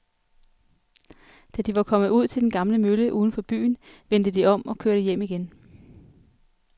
Da de var kommet ud til den gamle mølle uden for byen, vendte de om og kørte hjem igen.